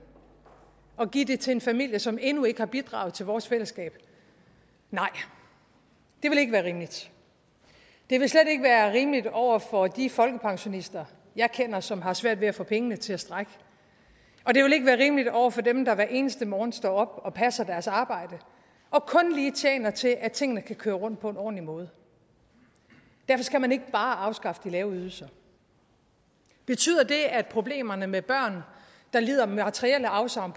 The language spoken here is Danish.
at give det til en familie som endnu ikke har bidraget til vores fællesskab nej det ville ikke være rimeligt det ville slet ikke være rimeligt over for de folkepensionister jeg kender som har svært ved at få pengene til at strække og det ville ikke være rimeligt over for dem der hver eneste morgen står op og passer deres arbejde og kun lige tjener til at tingene kan køre rundt på en ordentlig måde derfor skal man ikke bare afskaffe de lave ydelser betyder det at problemerne med børn der lider materielle afsavn